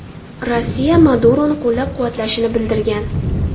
Rossiya Maduroni qo‘llab-quvvatlashini bildirgan.